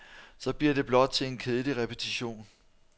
Så bliver det blot til en kedelig repetition.